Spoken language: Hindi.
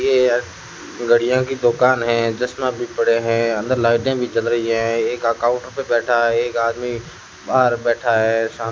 ये एक घड़ियों की दुकान है चश्मा भी पड़े हैं अंदर लाइटें भी जल रही हैं एक अकाउंट पे बैठा है एक आदमी बाहर बैठा है शाम--